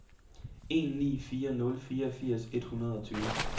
en ni fire nul fireogfirs et hundrede og tyve